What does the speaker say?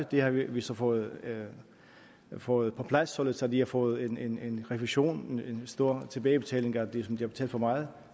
det har vi så fået fået på plads således at vi har fået en en refusion en stor tilbagebetaling af det som de havde betalt for meget